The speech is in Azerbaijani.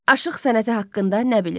Aşıq sənəti haqqında nə bilirsiz?